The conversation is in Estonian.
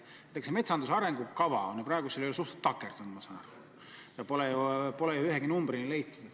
Näiteks, metsanduse arengukava on praegu suhteliselt takerdunud, ma saan aru, ja pole ju ühegi numbrini jõutud.